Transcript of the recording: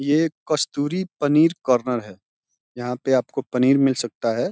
ये कस्तूरी पनीर कार्नर है। यहाँ पर आपको पनीर मिल सकता है।